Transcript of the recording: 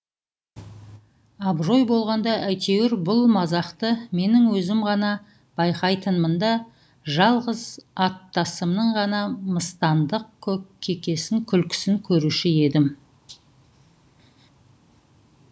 абырой болғанда әйтеуір бұл мазақты менің өзім ғана байқайтынмын да жалғыз аттасымның ғана мыстандық кекесін күлкісін көруші едім